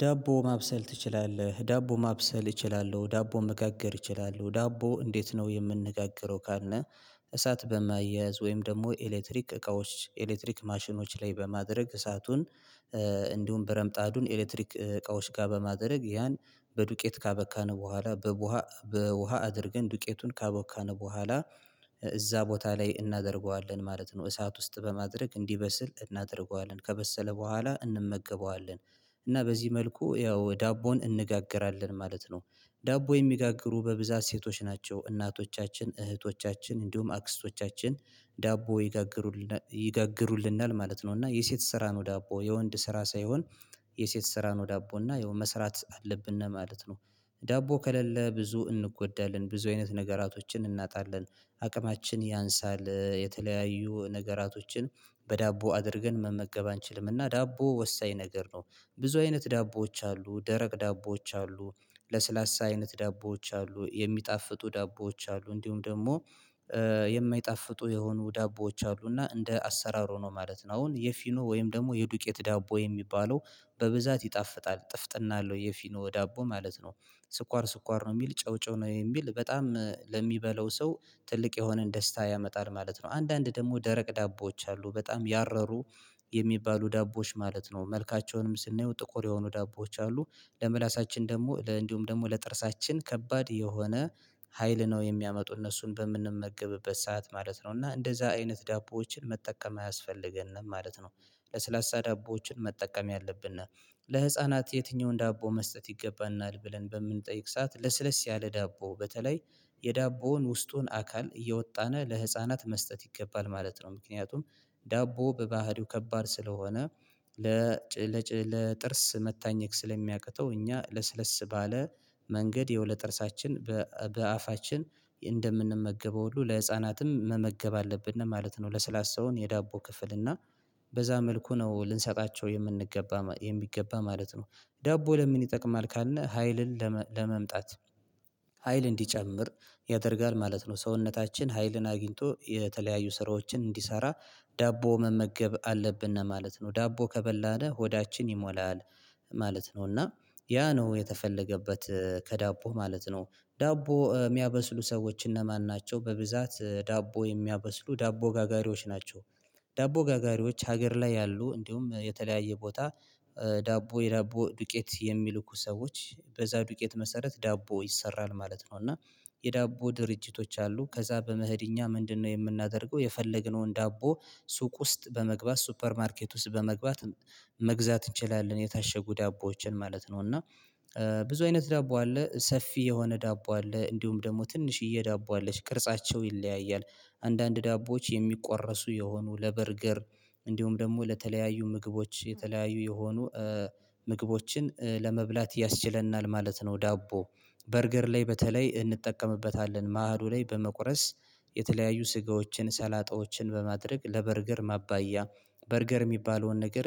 ዳቦ ማብሰል ትችላለህ? ዳቦ ማብሰል እችላለሁ ዳቦ መጋገር እችላለሁ ዳቦ እንዴት ነው የምንነጋግረው ካለ እሳት በማያያዝ ወይም ደግሞ ኤሌክትሪክ እቃዎች ኤሌክትሪክ ማሽኖች ላይ በማድረግ እሳቱን እንዲሁም ብረምጣዱን ኤሌክትሪክ እቃዎች ጋር በማድረግ ያን በዱቄት ካበካን በኋላ በውሃ አድርገን ዱቄቱን ካቦካን በኋላ እዛ ቦታ ላይ እናደርገዋለን ማለት ነው እሳት ውስጥ በማድረግ እንዲበስል እናደርገዋለን ከበሰለ በኋላ እንመገበዋለን እና በዚህ መልኩ ያው ዳቦን እንጋገራለን ማለት ነው ዳቦ የሚጋግሩ በብዛት ሴቶች ናቸው እናቶቻችን እህቶቻችን እንዲሁም አክስቶቻችን ዳቦ ይጋግሩልናል ይጋግሩልናል ማለት ነው እና የሴት ስራ ነው ዳቦ የወንድ ስራ ሳይሆን የሴት ስራ ነው ዳቦ እና የሆነ መስራት አለብን ነው ማለት ነው ዳቦ ከሌለ ብዙ እንጎዳለን ብዙ አይነት ነገራቶችን እናጣለን አቅማችን ያንሳል የተለያዩ ነገራቶችን በዳቦ አድርገን መመገብ አንችልምና ዳቦ ወሳኝ ነገር ነው ብዙ አይነት ዳቦዎች አሉ ደረቅ ዳቦዎች አሉ ለስላሳ አይነት ዳቦዎች አሉ የሚጣፍጡ ዳቦዎች አሉ እንዲሁም ደግሞ የማይጣፍጡ የሆኑ ዳቦዎች አሉ እና እንደ አሰራሩ ነው ማለት ነው አሁን የፊኖ ወይም ደግሞ የዱቄት ዳቦ የሚባለው በብዛት ይጣፍጣል ጥፍጥና አለው የፊኖ ዳቦ ማለት ነው ስኳር ስኳር ነው የሚል ጨው ጨው ነው የሚል በጣም ለሚበላው ሰው ትልቅ የሆነን ደስታ ያመጣል ማለት ነው አንዳንድ ደግሞ ደረቅ ዳቦዎች አሉ በጣም ያረሩ የሚባሉ ዳቦዎች ማለት ነው መልካቸውንም ስናየው ጥቁር የሆኑ ዳቦዎች አሉ ለምላሳችን ደግሞ ለ እንዲሁም ደግሞ ለጥርሳችን ከባድ የሆነ ሀይል ነው የሚያመጡ እነሱን በምንመገብበት ሰዓት ማለት ነው እና እንደዛ አይነት ዳቦዎችን መጠቀም አያስፈልገንም ማለት ነው ለስላሳ ዳቦዎችን መጠቀም ያለብና ለህፃናት የትኛውን ዳቦ መስጠት ይገባናል ብለን በምንጠይቅ ሰዓት ለስለስ ያለ ዳቦ በተለይ የዳቦውን ውስጡን አካል እያወጣነ ለህፃናት መስጠት ይገባል ማለት ነው ምክንያቱም ዳቦ በባህሪው ከባድ ስለሆነ ለ ለጥርስ መታኘክ ስለሚያቅተው እኛ ለስለስ ባለ መንገድ የወለ ጥርሳችን በአፋችን እንደምንመገበው ሁሉ ለህፃናትም መመገብ አለብን ነው ማለት ነው ለሰላሳውን የዳቦ ክፍል እና በዛ መልኩ ነው ልንሰጣቸው የምንገባ የሚገባ ማለት ነው ዳቦ ለምን ይጠቅማል ካልነህ ሀይልን ለመምጣት ሀይል እንዲጨምር ያደርጋል ማለት ነው ሰውነታችን ሀይልን አግኝቶ የተለያዩ ስራዎችን እንዲሰራ ዳቦ መመገብ አለብን ማለት ነው ዳቦ ከበላነ ሆዳችን ይሞላል ማለት ነው እና ያ ነው የተፈለገበት ከዳቦ ማለት ነው ዳቦ የሚያበስሉ ሰዎች እነማን ናቸው በብዛት ዳቦ የሚያበስሉ ዳቦ ጋጋሪዎች ናቸው ዳቦ ጋጋሪዎች ሀገር ላይ ያሉ እንዲሁም የተለያየ ቦታ ዳቦ የዳቦ ዱቄት የሚልኩ ሰዎች በዛ ዱቄት መሰረት ዳቦ ይሰራል ማለት ነው እና የዳቦ ድርጅቶች አሉ ከዛ በመሄድ እኛ ምንድነው የምናደርገው የፈለግነውን ዳቦ ሱቅ ውስጥ በመግባት ሱፐር ማርኬት ውስጥ በመግባት መግዛት እንችላለን የታሸጉ ዳቦዎችን ማለት ነው እና ብዙ አይነት ዳቦ አለ ሰፊ የሆነ ዳቦ አለ እንዲሁም ደግሞ ትንሽዬ ዳቦ አለሽ ቅርጻቸው ይለያያል አንዳንድ ዳቦዎች የሚቆረሱ የሆኑ ለበርገር እንዲሁም ደግሞ ለተለያዩ ምግቦች የተለያዩ የሆኑ ምግቦችን ለመብላት ያስችለናል ማለት ነው ዳቦ በርገር ላይ በተለይ እንጠቀምበታለን ማህዱ ላይ በመቁረስ የተለያዩ ስጋዎችን ሰላጣዎችን በማድረግ ለበርገር ማባያ በርገር የሚባለውን ነገር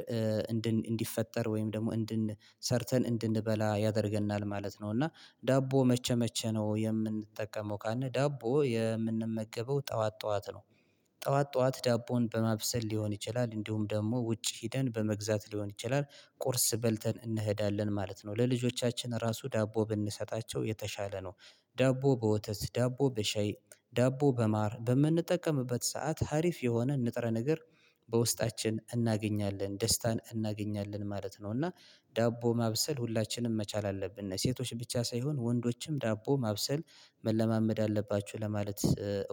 እንዲፈጠር ወይም ደግሞ እንድን ሰርተን እንድንበላ ያደርገናል ማለት ነው እና ዳቦ መቸ መቸ ነው የምንጠቀመው ካንተ ዳቦ የምንመገበው ጠዋት ጠዋት ነው ጠዋት ጠዋት ዳቦን በማብሰል ሊሆን ይችላል እንዲሁም ደግሞ ውጭ ሄደን በመግዛት ሊሆን ይችላል ቁርስ በልተን እንሄዳለን ማለት ነው ለልጆቻችን ራሱ ዳቦ ብንሰጣቸው የተሻለ ነው ዳቦ በወተት ዳቦ በሸይ ዳቦ በማር በምንጠቀምበት ሰዓት ሀሪፍ የሆነ ንጥረ ነገር በውስጣችን እናገኛለን ደስታን እናገኛለን ማለት ነው እና ዳቦ ማብሰል ሁላችንም መቻል አለብን ሴቶች ብቻ ሳይሆን ወንዶችም ዳቦ ማብሰል መለማመድ አለባችሁ ለማለት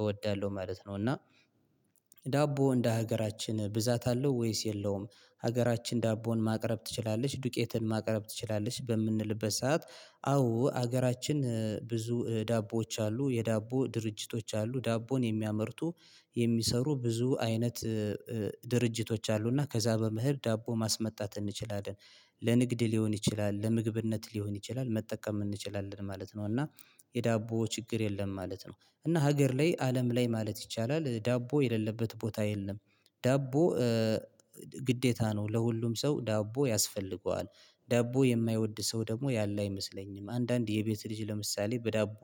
እወዳለሁ ማለት ነው እና ዳቦ እንደ ሀገራችን ብዛት አለው ወይስ የለውም ሀገራችን ዳቦን ማቅረብ ትችላለች ዱቄትን ማቅረብ ትችላለች በምንልበት ሰዓት አዎ ሀገራችን ብዙ ዳቦዎች አሉ የዳቦ ድርጅቶች አሉ ዳቦን የሚያመርቱ የሚሰሩ ብዙ አይነት ድርጅቶች አሉና ከዛ በምህር ዳቦ ማስመጣት እንችላለን ለንግድ ሊሆን ይችላል ለምግብነት ሊሆን ይችላል መጠቀም እንችላለን ማለት ነው እና የዳቦ ችግር የለም ማለት ነው እና ሀገር ላይ አለም ላይ ማለት ይቻላል ዳቦ የሌለበት ቦታ የለም ዳቦ ግዴታ ነው ለሁሉም ሰው ዳቦ ያስፈልገዋል ዳቦ የማይወድ ሰው ደግሞ ያለ አይመስለኝም አንዳንድ የቤት ልጅ ለምሳሌ በዳቦ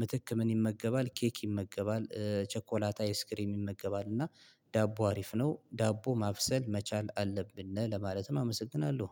ምትክ ምን ይመገባል ኬክ ይመገባል ቸኮላታ ኤስክሪም ይመገባል እና ዳቦ አሪፍ ነው ዳቦ ማብሰል መቻል አለብን ለማለትም አመሰግናለሁ